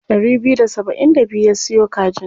Ɗari biyu da saba'in da biyu ya siyo kajin.